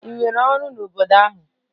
Ị nwere ọrụ n'obodo ahụ?